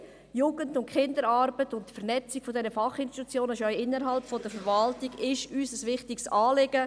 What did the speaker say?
Nein, Jugend- und Kinderarbeit sowie die Vernetzung dieser Fachinstitutionen innerhalb der Verwaltung ist uns ein wichtiges Anliegen.